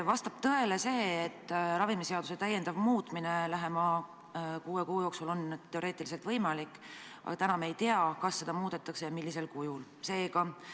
Vastab tõele, et ravimiseaduse täiendav muutmine lähema kuue kuu jooksul on teoreetiliselt võimalik, aga täna me ei tea, kas seda muudetakse ja millisel kujul seda tehakse.